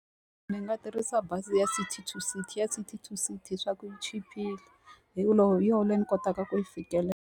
Ndzi nga tirhisa bazi ya City to City. Ya City to City swa ku chipile. Hi ku hi yona leyi ndzi kotaka ku yi fikelela.